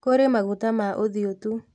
Kũrĩ maguta ma ũthiũ tu